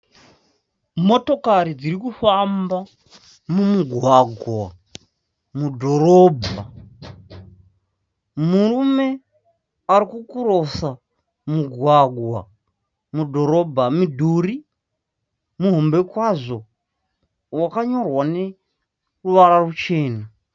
Motokari dziri kufamba mumugwagwa mudhorobha. Murume ari kukurosa mugwagwa mudhorobha. Mudhuri muhombe kwazvo wakanyorwa neruvara ruchena.